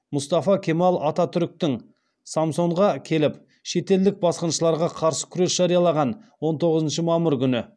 мұстафа кемал ататүріктің самсонға келіп шетелдік басқыншыларға қарсы күрес жариялаған он тоғызыншы мамыр күні